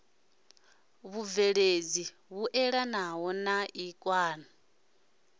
vhubveledzi vhuelanaho na ik na